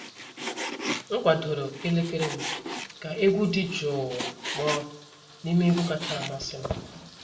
M kwadoro elekere m ka egwu dị jụụ kpọọ n'ime egwu kacha amasị m.